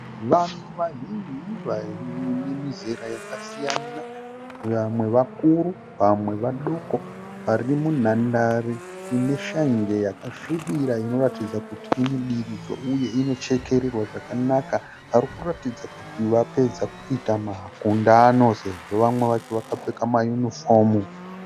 Vanhu vazhinji vane mizera yakasiyana. Vamwe vakuru vamwe vadoko vari munhandare ine shanje yakasvibira inoratidza kuti inodiridzwa uye inochekererwa zvakanaka varikuratidza kuti vapedza kuita makundano sezvo vamwe vacho vakapfeka mayunifomu.